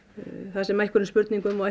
þar sem einhverjum spurningum og